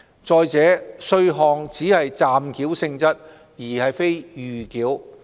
再者，稅項只是暫繳性質，而非預繳。